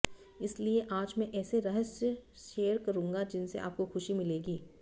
इसलिए आज मैं ऐसे रहस्य शेयर करूंगा जिनसे आपको खुशी मिलेगी